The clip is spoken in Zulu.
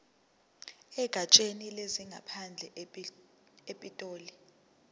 egatsheni lezangaphandle epitoli